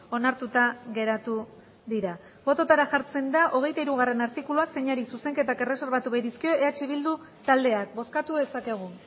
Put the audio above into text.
onartuta geratu dira bototara jartzen da hogeita hirugarrena artikulua zeini zuzenketak erreserbatu baitizkio eh bildu taldeak bozkatu dezakegu